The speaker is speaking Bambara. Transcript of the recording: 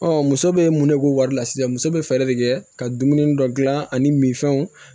muso bɛ mun ne ko wari la sisan muso bɛ fɛɛrɛ de kɛ ka dumuni dɔ dilan ani minfɛnw